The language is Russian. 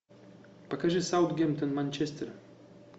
покажи саутгемптон манчестер